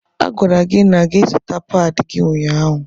A gwara gị na gị zuta páadi gị ụnyaahụ.